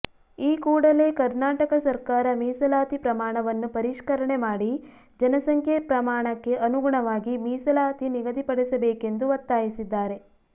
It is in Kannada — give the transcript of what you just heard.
ಈ ಕೂಡಲೇ ಕರ್ನಾಟಕ ಸರ್ಕಾರ ಮೀಸಲಾತಿ ಪ್ರಮಾಣವನ್ನು ಪರಿಷ್ಕರಣೆ ಮಾಡಿ ಜನಸಂಖ್ಯೆ ಪ್ರಮಾಣಕ್ಕೆ ಅನುಗುಣವಾಗಿ ಮೀಸಲಾತಿ ನಿಗದಿಪಡಿಸಬೇಕೆಂದು ಒತ್ತಾಯಿಸಿದ್ದಾರೆ